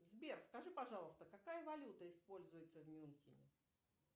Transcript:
сбер скажи пожалуйста какая валюта используется в мюнхене